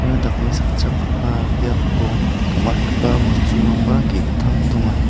dakmesakchakgipa biapo gam·atgipa bosturangba ge·gittam donga.